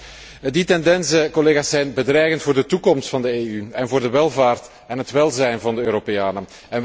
Collega's, die tendensen zijn, collega's, zijn bedreigend voor de toekomst van de EU en voor de welvaart en het welzijn van de Europeanen